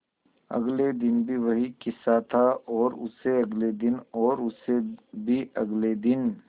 अगले दिन भी वही किस्सा था और उससे अगले दिन और उससे भी अगले दिन